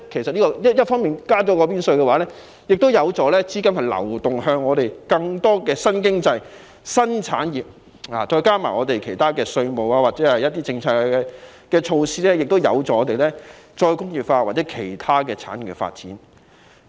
增加股票增值稅有助資金流向更多新經濟、新產業，再加上其他稅務或政策措施，亦有助我們再工業化或其他產業的發展。